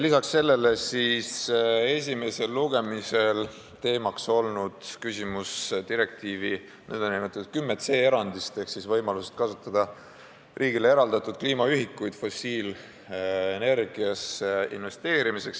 Lisaks sellele on esimesel lugemisel teemaks olnud direktiivi artiklis 10c toodud erand ehk võimalus kasutada riigile eraldatud kliimaühikuid fossiilenergiasse investeerimiseks.